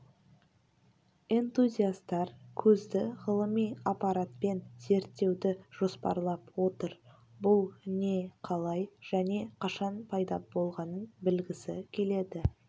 энтузиастар көзді ғылыми аппаратпен зерттеуді жоспарлап отыр бұл не қалай және қашан пайда болғанын білгісі келеді